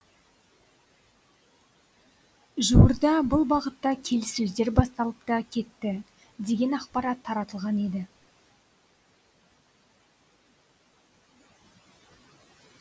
жуырда бұл бағытта келіссөздер басталып та кетті деген ақпарат таратылған еді